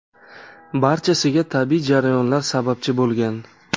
Barchasiga tabiiy jarayonlar sababchi bo‘lgan.